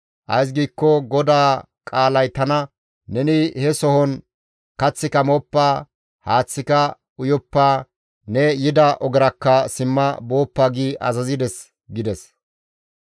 Ays giikko GODAA qaalay tana, ‹Neni he sohon kaththika mooppa; haaththika uyoppa; ne yida ogerakka simma booppa› gi azazides» gides.